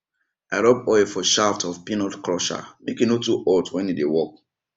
i rub oil for shaft of peanut crusher make e no too hot when e dey work